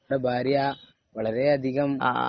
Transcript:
താങ്കളുടെ ഭാര്യാ വളരെയധികം